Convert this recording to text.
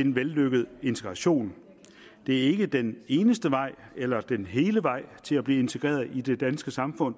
en vellykket integration det er ikke den eneste vej eller den hele vej til at blive integreret i det danske samfund